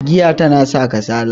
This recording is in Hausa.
giya tana sa kasala